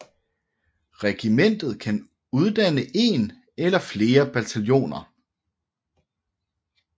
Regimentet kan uddanne én eller flere bataljoner